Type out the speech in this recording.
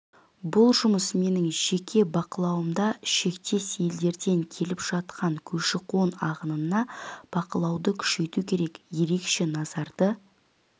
бұл жұмыс менің жеке бақылауымда шектес елдерден келіп жатқан көші-қон ағынына бақылауды күшейту керек ерекше назарды